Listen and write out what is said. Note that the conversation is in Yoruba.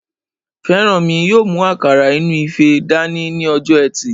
Fẹ́rànmi yóò mú àkàrà òyìnbó inú ife dání ní ọjọ́ ẹtì